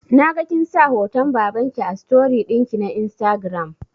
Naga kinsa hoton babanki a story ɗinki na instagram